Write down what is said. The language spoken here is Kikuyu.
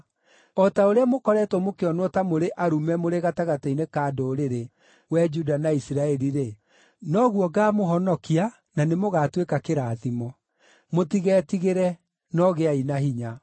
O ta ũrĩa mũkoretwo mũkĩonwo ta mũrĩ arume mũrĩ gatagatĩ-inĩ ka ndũrĩrĩ, wee Juda na Isiraeli-rĩ, noguo ngaamũhonokia, na nĩmũgatuĩka kĩrathimo. Mũtigetigĩre, no gĩai na hinya.”